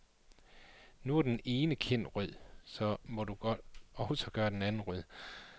Nu er den ene kind rød, så må du også gøre den anden rød.